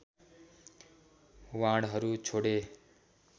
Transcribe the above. बाणहरू छोडे